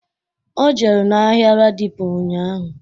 O jere n'ahịa ladipo ụnyaahụ